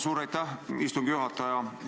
Suur aitäh, istungi juhataja!